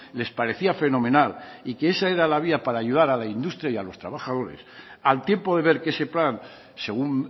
les parecía fenomenal y que esa era la vía para ayudar a la industria y a los trabajadores al tiempo de ver que ese plan según